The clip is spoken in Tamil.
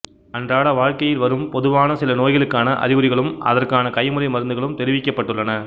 அன்றாட வாழ்க்கையில் வரும் பொதுவான சில நோய்களுக்கான அறிகுறிகளும் அதற்கான கைமுறை மருந்துகளும் தெரிவிக்கப்பட்டுள்ளன